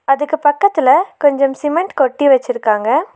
அதுக்கு பக்கத்துல கொஞ்சம் சிமெண்ட் கொட்டி வெச்சிருக்காங்க.